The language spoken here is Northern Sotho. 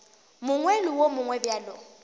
mongwe le wo mongwe bjalo